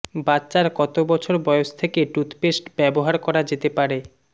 বাচ্চার কত বছর বয়স থেকে টুথপেস্ট ব্যবহার করা যেতে পারে